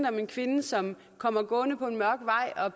om en kvinde som kommer gående på en mørk vej og